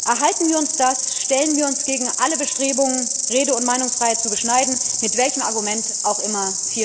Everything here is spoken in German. Erhalten wir uns das, stellen wir uns gegen alle Bestrebungen, Rede und Meinungsfreiheit zu beschneiden, mit welchem Argument auch immer!